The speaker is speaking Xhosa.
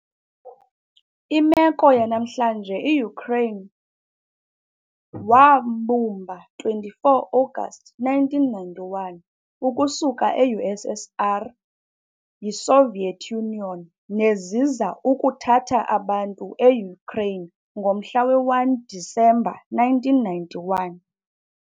Imeko yanamhlanje Ukraine wambumba 24 Agasti 1991 ukususela eU.SSR ngowe ngokuwa yiSoviet Union, neziza ukuthanda abantu eUkraine ngomhla we-1 Disemba 1991.